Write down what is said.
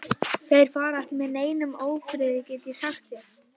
Þeir fara ekki með neinum ófriði, get ég sagt þér.